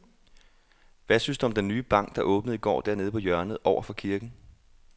Hvad synes du om den nye bank, der åbnede i går dernede på hjørnet over for kirken?